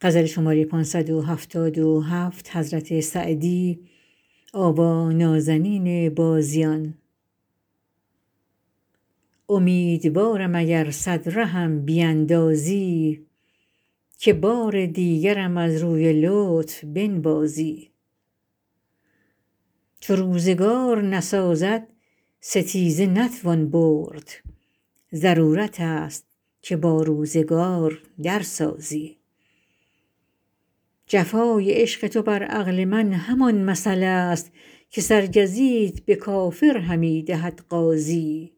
امیدوارم اگر صد رهم بیندازی که بار دیگرم از روی لطف بنوازی چو روزگار نسازد ستیزه نتوان برد ضرورت است که با روزگار در سازی جفای عشق تو بر عقل من همان مثل است که سرگزیت به کافر همی دهد غازی